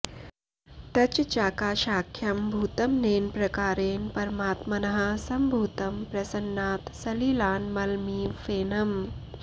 तच् चाकाशाख्यं भूतमनेन प्रकारेण परमात्मनः सम्भूतं प्रसन्नात् सलिलान् मलमिव फेनम्